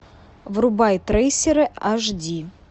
врубай трейсеры аш ди